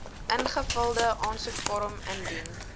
ingevulde aansoekvorm indien